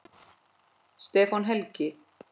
Stefán Helgi.